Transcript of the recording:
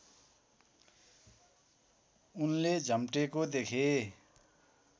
उनले झम्टेको देखे